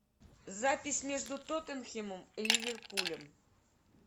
запись между тоттенхэмом и ливерпулем